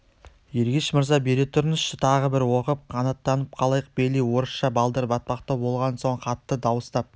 ергеш мырза бере тұрыңызшы тағы бір оқып қанаттанып қалайық бейли орысша балдыр-батпақтау болған соң хатты дауыстап